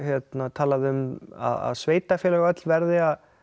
talað um að sveitarfélög öll verði að